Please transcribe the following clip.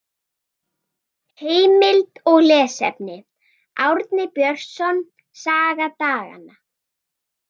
Heimild og lesefni: Árni Björnsson, Saga daganna.